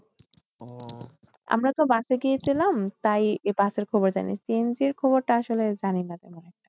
আমরা তো বাসে এ গিয়েছিলাম। তাই বাসের খবর জানি CNG এর খবর টা আসলে জানি না। তেমন একটা।